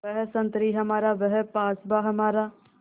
वह संतरी हमारा वह पासबाँ हमारा